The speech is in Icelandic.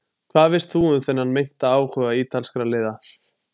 Hvað veist þú um þennan meinta áhuga ítalskra liða?